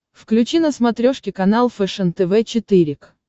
включи на смотрешке канал фэшен тв четыре к